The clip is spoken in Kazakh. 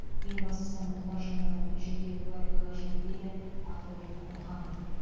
ең бастысы мұқтаж жандардың жеке куәлігі қажет дейді ақылбек мұханов